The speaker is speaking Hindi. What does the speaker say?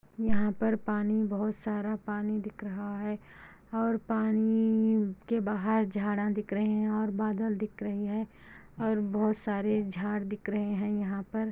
यहाँ पर पानी बहुत सारा पानी दिख रहा है और पानी के बाहर झाड़ा दिख रहे है और बादल दिख रहे है और बहुत सारा झाड़ दिख रहे है यहाँ पर --